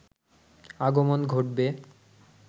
আগমন ঘটবে